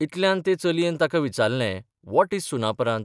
इतल्यांत ते चलयेन ताका विचारलें वॉट इज सुनापरान्त?